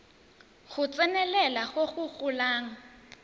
go tsenelela go go golang